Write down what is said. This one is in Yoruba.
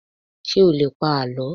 ṣé o lè pa àlọ́?